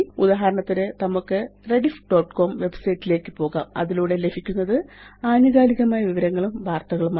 ഇനി ഉദാഹരണത്തിന് നമുക്ക് rediffകോം വെബ്സൈറ്റ് ലേയ്ക്ക് പോകാം അതിലൂടെ ലഭിക്കുന്നത് ആനുകാലികമായ വിവരങ്ങളും വാര്ത്തകളുമാണ്